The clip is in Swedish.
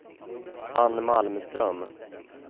Ann Malmström